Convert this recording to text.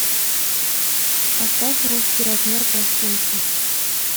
поставь русский размер пластинки